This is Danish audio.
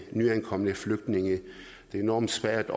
nyankomne flygtninge det er enormt svært